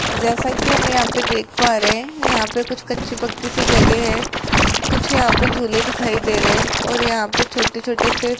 जैसा कि हम यहां पे देख पा रहे हैं यहां पे कुछ कच्ची पक्की सी जगह है कुछ यहां पर झूले दिखाई दे रहे हैं और यहां पे छोटे छोटे से --